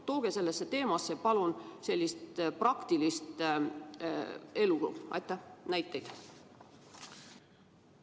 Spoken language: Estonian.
Tooge sellesse teemasse palun praktilise elu näiteid!